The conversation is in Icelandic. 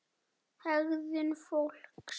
HEGÐUN FÓLKS